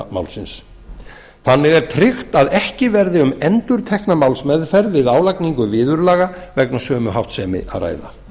málsins þannig er tryggt að ekki verði um endurtekna málsmeðferð við álagningu viðurlaga vegna sömu háttsemi að ræða